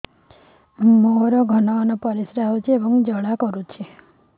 ମୋର ଘନ ଘନ ପରିଶ୍ରା ହେଉଛି ଏବଂ ଜ୍ୱାଳା କରୁଛି